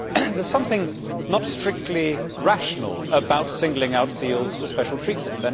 There is something not strictly rational about singling out seals for special treatment.